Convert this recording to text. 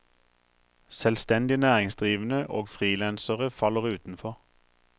Selvstendig næringsdrivende og freelancere faller utenfor.